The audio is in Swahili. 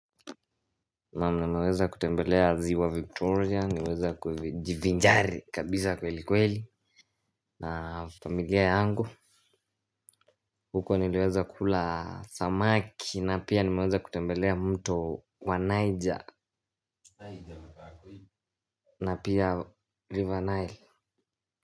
Na nimeweza kutembelea ziwa victoria nimeweza kujivinjari kabisa kweli kweli na familia yangu huko niliweza kula samaki na pia nimeweza kutembelea mto wa niger na pia river nile.